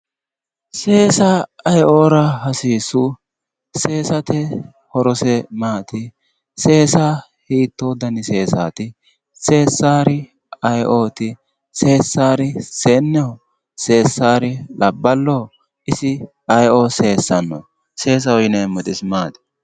Seesa aye"ora hasiissu? Seesate horose maati? Seesa hiitto dani seesaati? Seesaaari aye"oti? Seessari seenneho? seessaari labballoo? isi seesaho yineemmori isi maati?